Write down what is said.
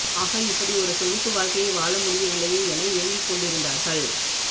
ஆக இப்படிஒரு சொகுசு வாழ்கையை வாழ முடியவில்லையே என ஏங்கிக் கொண்டிருந்திருந்தார்கள்